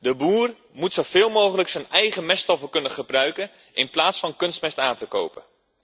De boer moet zoveel mogelijk zijn eigen meststoffen kunnen gebruiken in plaats van kunstmest te kopen.